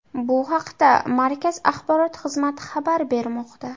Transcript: Bu haqda markaz axborot xizmati xabar bermoqda.